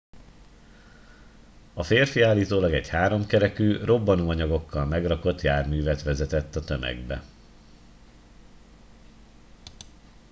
a férfi állítólag egy háromkerekű robbanóanyagokkal megrakott járművet vezetett a tömegbe